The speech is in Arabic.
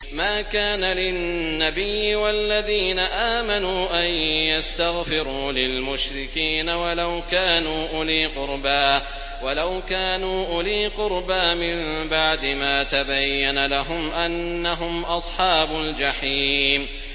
مَا كَانَ لِلنَّبِيِّ وَالَّذِينَ آمَنُوا أَن يَسْتَغْفِرُوا لِلْمُشْرِكِينَ وَلَوْ كَانُوا أُولِي قُرْبَىٰ مِن بَعْدِ مَا تَبَيَّنَ لَهُمْ أَنَّهُمْ أَصْحَابُ الْجَحِيمِ